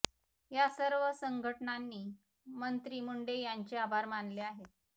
या सर्व संघटनांनी मंत्री मुंडे यांचे आभार मानले आहेत